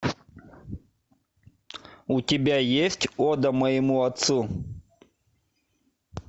у тебя есть ода моему отцу